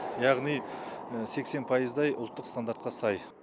яғни сексен пайыздай ұлттық стандартқа сай